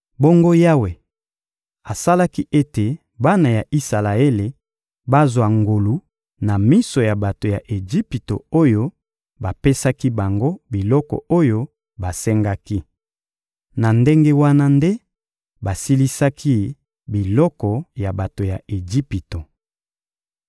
Bongo Yawe asalaki ete bana ya Isalaele bazwa ngolu na miso ya bato ya Ejipito oyo bapesaki bango biloko oyo basengaki. Na ndenge wana nde basilisaki biloko ya bato ya Ejipito.